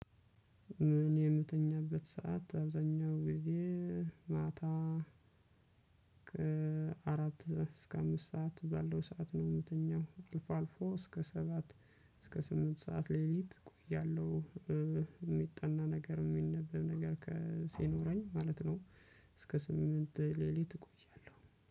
እኔ የምተኛበት ሰዓት አብዛኛው ጊዜ ማታ ከአራት እስከ አምስት ሰዓት ባለው ሰዓት ነው የምትኛው አልፎ አልፎ እስከ ሰባት እስከ ስምንት ሰዓት ሌሊት እቆያለሁ። የሚጠና ነገር የሚነበብ ነገር ሲኖረኝ ማለት ነው። እስከ ስምንት ሌሊት እቆያለሁ